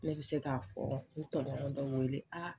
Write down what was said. Ne bi se k'a fɔ n tɔɲɔgɔn dɔ wele